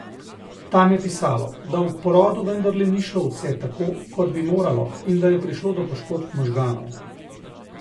Tam je pisalo, da ob porodu vendarle ni šlo vse tako, kot bi moralo, in da je prišlo do poškodb možganov.